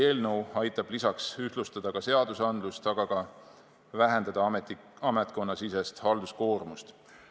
Samas aitab eelnõu seadusandlust ühtlustada, aga ka vähendada ametkonnasisest halduskoormust.